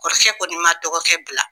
Kɔrɔkɛ kɔni ma dɔgɔkɛ bila